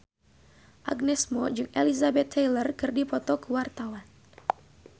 Agnes Mo jeung Elizabeth Taylor keur dipoto ku wartawan